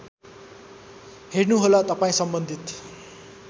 हेर्नुहोला तपाईँ सम्बन्धित